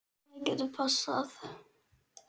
Það getur passað.